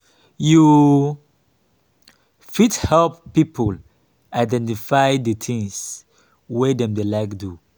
you fit help pipo identify di things wey dem dey like do